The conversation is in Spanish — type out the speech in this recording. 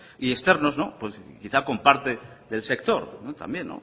y externos quizás con parte del sector también